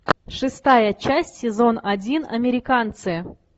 шестая часть сезон один американцы